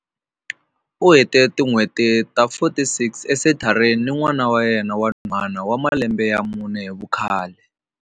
U hete tin'hweti ta 46 esenthareni ni n'wana wa yena wa nhwanyana wa malembe ya mune hi vukhale.